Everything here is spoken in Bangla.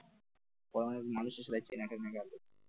মানুষের সাথে চেনা গেল,